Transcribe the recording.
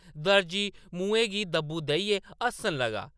दर्जी मुहैं गी दब्बू देइयै हस्सन लगा।